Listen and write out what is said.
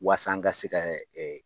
Waasa an ka se kɛ ɛ